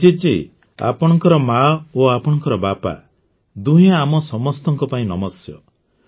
ଅଭିଜିତ ଜୀ ଆପଣଙ୍କର ମା ଓ ଆପଣଙ୍କର ବାପା ଦୁହେଁ ଆମ ସମସ୍ତଙ୍କ ପାଇଁ ନମସ୍ୟ